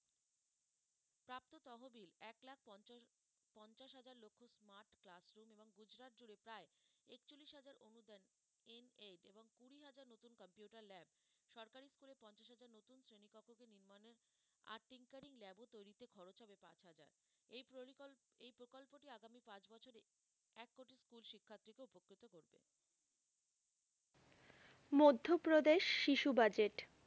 মধ্যপ্রদেশ শিশু বাজেট,